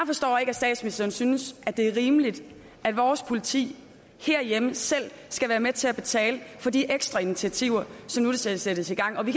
statsministeren synes at det er rimeligt at vores politi selv skal være med til at betale for de ekstra initiativer som nu sættes i gang vi